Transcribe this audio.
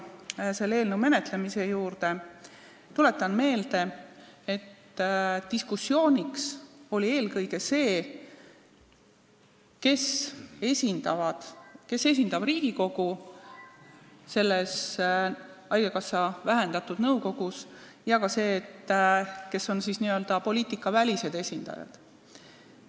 Tuletan meelde, et selle eelnõu menetlemisel oli diskussiooniteema eelkõige see, kes esindab Riigikogu selles haigekassa vähendatud koosseisuga nõukogus, ja ka see, kes on siis n-ö poliitikavälised esindajad.